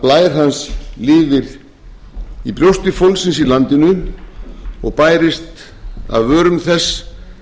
blær hans lifir í brjósti fólksins í landinu og bærist af vörum þess